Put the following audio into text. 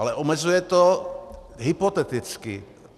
Ale omezuje to hypoteticky.